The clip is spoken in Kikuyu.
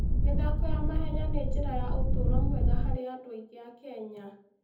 mĩthako ya mahenya nĩ njĩra ya ũtũũro mwega harĩ andũ aingĩ a Kenya.